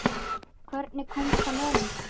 Hvernig komst hann inn?